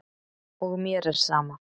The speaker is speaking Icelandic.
Og mér er sama.